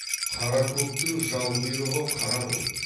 қара көктің жал құйрығы қара ғой